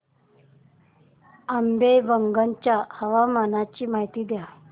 आंबेवंगन च्या हवामानाची माहिती द्या